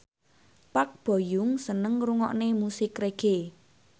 Park Bo Yung seneng ngrungokne musik reggae